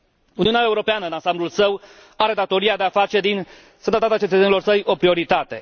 Uniunea Europeană, în ansamblul său, are datoria de a face din sănătatea cetățenilor săi o prioritate.